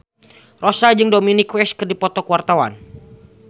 Rossa jeung Dominic West keur dipoto ku wartawan